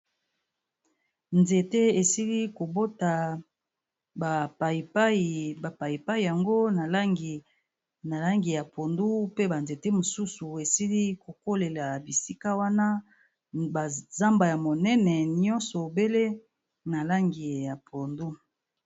Nzete esili ko bota ba payipayi, ba payipayi yango na langi ya pondu pe ba nzete mosusu esili ko kolela bisika wana, ba zamba ya monene nyonso obele na langi ya pondu.